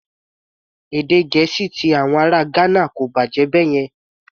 Èdè Gẹ̀ẹ́sì ti àwọn ará Ghana kò bàjẹ́ báyẹn.